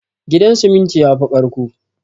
Gidan siminti yafi ƙarƙko